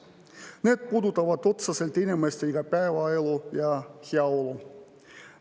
Need puudutavad otseselt inimeste igapäevaelu ja heaolu.